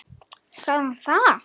Sagði hann það?